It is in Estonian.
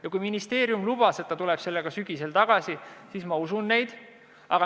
Ja kui ministeerium lubas, et ta tuleb selle seadusega sügisel tagasi, siis ma usun neid.